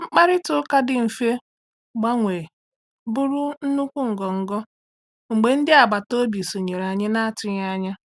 Mkparịta ụka dị mfe gbanwee bụrụ nnukwu ngọngọ mgbe ndị agbataobi sonyere anyị na-atụghị anya.